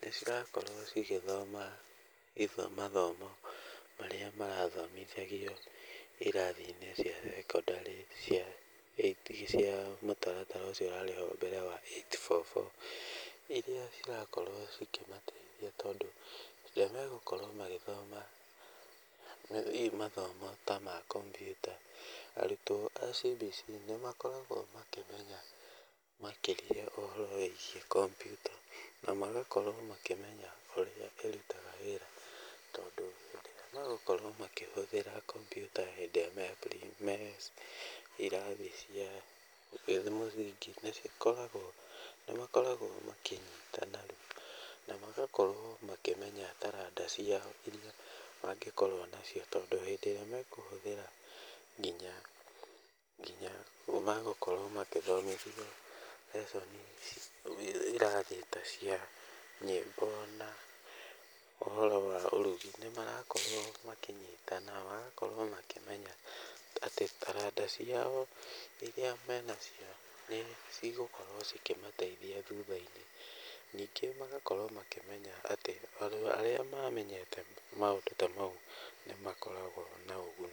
nĩ cirakorwo cigĩthoma mathomo marĩa marathomithagio irathi-inĩ cia secondary cia mũtaratara ũcio ũrarĩ ho mbere wa eight-four-four, irĩa cirakorwo cikĩmateithia. Tondũ hĩndĩ ĩrĩa megũkorwo magĩthoma hihi mathomo ta ma kompiuta, arutwo a CBC nĩ makoragwo makĩmenya makĩria ũhoro wĩgiĩ kompiuta na magakorwo makĩmenya ũrĩa ĩrutaga wĩra. Tondũ hĩndĩ ĩrĩa megũkorwo makĩhũthĩra komputa hĩndĩ ĩrĩa me irathi cia mũthingi, nĩ makoragwo makĩnyitana na magakorwo makĩmenya taranda ciao irĩa mangĩkorwo nacio. Tondũ hĩndĩ ĩrĩa mekũhũthĩra nginya megũkorwo magĩthomithio lesson irathi ta cia nyĩmbo na ũhoro wa ũrugi, nĩ marakorwo makĩnyitana, magakorwo makĩmenya atĩ taranda ciao irĩa menacio nĩ cigũkorwo cikĩmateithia thutha-inĩ. Ningĩ magakorwo makĩmenya atĩ andũ arĩa mamenyete maũndũ ta mau nĩ makoragwo na ũguni.